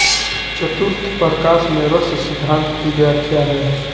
चतुर्थ प्रकाश में रस सिद्धान्त की व्याख्या है